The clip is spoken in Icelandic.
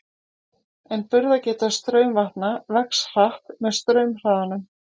En burðargeta straumvatna vex hratt með straumhraðanum.